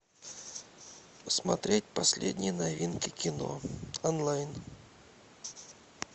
смотреть последние новинки кино онлайн